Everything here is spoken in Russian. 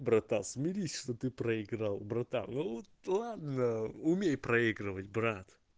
братан смирись что ты проиграл братан ну вот ладно умей проигрывать брат